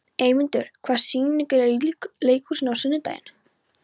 Eymundur, hvaða sýningar eru í leikhúsinu á sunnudaginn?